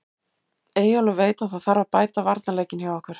Eyjólfur veit að það þarf að bæta varnarleikinn hjá okkur.